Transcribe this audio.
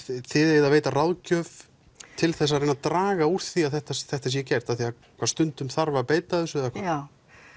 þið eigið að veita ráðgjöf til þess að reyna að draga úr því að þetta þetta sé gert því að stundum þarf að beita þessu eða hvað já